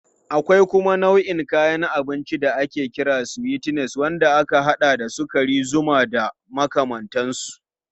Akwai kuma nau'in kayan abinci da ake kira sweeteners wanda ya haɗa da sukari, zuma da makamantansu.